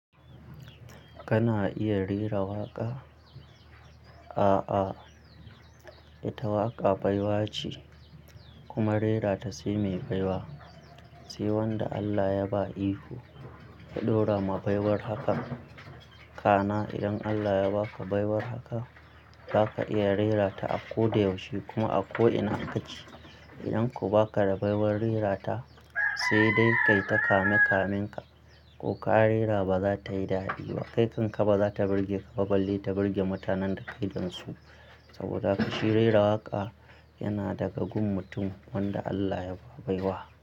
Kana iya rera waƙa? A'a, ita waƙa baiwa ce kuma rerata sai mai baiwa. Sai wanda Allah ya ba iko ya ɗora ma baiwar hakan. Kana idan Allah ya ba ka baiwar haka, zaka iya rerata a ko da yaushe kuma a ko ina kake. Idan kuma ba ka da baiwar rerata, sai dai kai ta kame kaminka ko ka rera ba za ta yi dadi ba. Kai kan ka ba za ta birge ka, baballe ta birge mutanen da kai dansu. Saboda haka shi rera waƙa yana daga gun mutum wanda Allah ya ba baiwa.